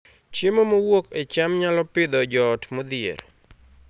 Chiemo mowuok e cham nyalo Pidhoo joot modhier